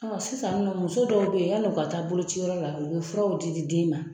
Sisan nin nɔ muso dɔw be yen, yala u ka taa bolociyɔrɔ la, u bi furaw di di den ma.